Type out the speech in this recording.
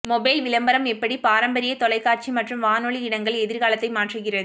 mobile விளம்பரம் எப்படி பாரம்பரிய தொலைக்காட்சி மற்றும் வானொலி இடங்கள் எதிர்காலத்தை மாற்றுகிறது